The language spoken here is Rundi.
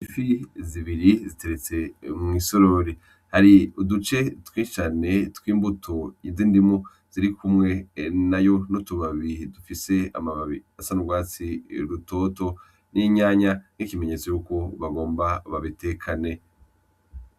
Ifi zibiri ziteretse mw'isorori hari uduce twinshi cane tw'imbuto z'indimu zirikumwe nayo n'utubabi dufise amababi asa n'ugwatsi rutoto n'itomati n'ikimenyetso yuko bagomba babitekane.